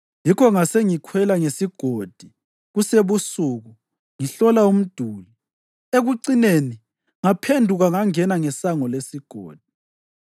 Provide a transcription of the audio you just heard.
yikho ngasengikhwela ngesigodi kusebusuku, ngihlola umduli. Ekucineni ngaphenduka ngangena ngeSango leSigodi.